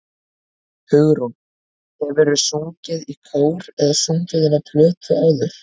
Hugrún: Hefurðu sungið í kór eða sungið inn á plötu áður?